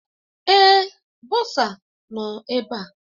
Èé, bọsa nọ ebe a.